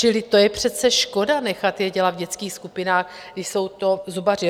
Čili to je přece škoda nechat je dělat v dětských skupinách, když jsou to zubaři.